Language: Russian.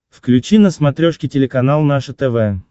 включи на смотрешке телеканал наше тв